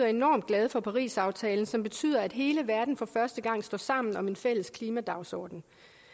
enormt glade for parisaftalen som betyder at hele verden for første gang står sammen om en fælles klimadagsorden